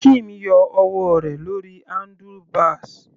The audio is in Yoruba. Kim yọ ọwọ́ rẹ̀ lórí handlebars.